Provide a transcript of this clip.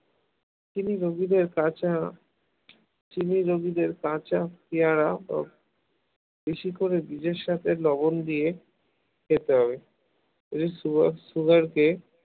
চিনি রোগীদের কাঁচা চিনি রোগীদের কাঁচা পেয়ারা ও বেশি করে বীজের সাথে লবণ দিয়ে খেতে হবে, যদি sugar sugar কে